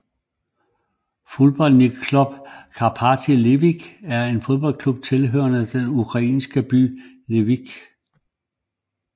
Futbolnij klub Karpati Lviv er en fodboldklub hjemmehørende i den ukrainske by Lviv